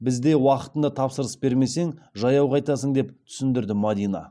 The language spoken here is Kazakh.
бізде уақытында тапсырыс бермесең жаяу қайтасың деп түсіндірді мадина